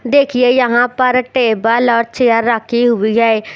देखिए यहाँ पर टेबल और चेयर रखी हुई है।